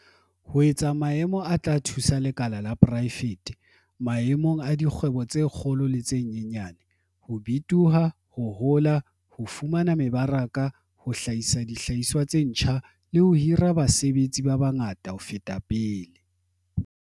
"ho etsa maemo a tla thusa lekala la poraefete - maemong a dikgwebo tse kgolo le tse nyenyane - ho bitoha, ho hola, ho fumana mebaraka, ho hlahisa dihlahiswa tse ntjha, le ho hira basebetsi ba bangata ho feta pele."